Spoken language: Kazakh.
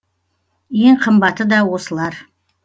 ең қымбаты да осылар